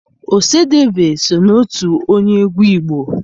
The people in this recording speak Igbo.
Ọsadebe so n'otu onye egwu Igbo.